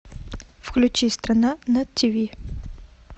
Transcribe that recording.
включи страна на тв